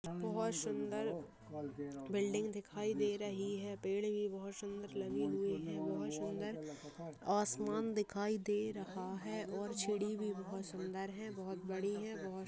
बहुत सुन्दर बिल्डिंग दिखाई दे रही है पेड़ भी बहुत सुन्दर लगे हुए हैं बहुत सुन्दर आसमान दिखाई दे रहा है और चिड़ी भी बहुत सुन्दर है बहुत बड़ी है बहुत--